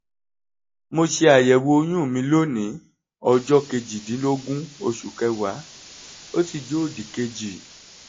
mo ṣe àyẹ̀wò oyún mi lónìí ọjọ́ kejìdínlógún oṣù kẹwàá ó sì jẹ òdìkejì